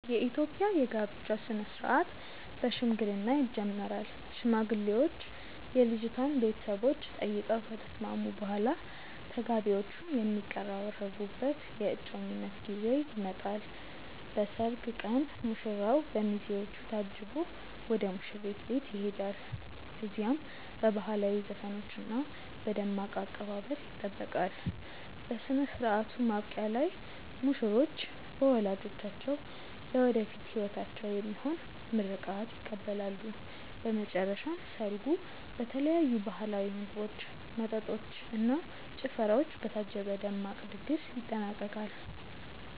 የኢትዮጵያ የጋብቻ ሥነ ሥርዓት በሽምግልና ይጀምራል። ሽማግሌዎች የልጅቷን ቤተሰቦች ጠይቀው ከተስማሙ በኋላ፣ ተጋቢዎቹ የሚቀራረቡበት የእጮኝነት ጊዜ ይመጣል። በሰርግ ቀን ሙሽራው በሚዜዎቹ ታጅቦ ወደ ሙሽሪት ቤት ይሄዳል። እዚያም በባህላዊ ዘፈኖችና በደማቅ አቀባበል ይጠበቃል። በሥነ ሥርዓቱ ማብቂያ ላይ ሙሽሮች በወላጆቻቸው ለወደፊት ሕይወታቸው የሚሆን ምርቃት ይቀበላሉ። በመጨረሻም ሰርጉ በተለያዩ ባህላዊ ምግቦች፣ መጠጦች እና ጭፈራዎች በታጀበ ደማቅ ድግስ ይጠናቀቃል።